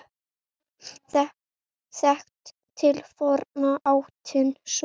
Þekkt til forna áttin sú.